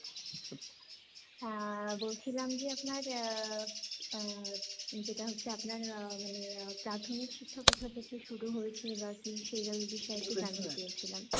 অ্যা, বলছিলাম যে আপনার আহ আহ যেটা হচ্ছে আপনার আহ প্রাথমিক শিক্ষা কোথা থেকে শুরু হয়েছে বা কি সেইরম বিষয়ে একটু জানতে চেয়েছিলাম।